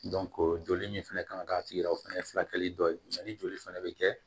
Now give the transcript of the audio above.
joli min fana kan ka k'a tigi la o fɛnɛ ye furakɛli dɔ ye ni joli fana bɛ kɛ